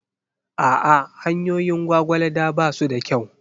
A'a, hanyoyin Gwagwalada ba su da kyau.